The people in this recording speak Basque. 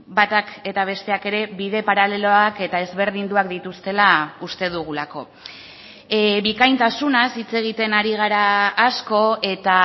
batak eta besteak ere bide paraleloak eta ezberdinduak dituztela uste dugulako bikaintasunaz hitz egiten ari gara asko eta